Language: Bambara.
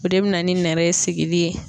O de be na ni nɛrɛ in sigili ye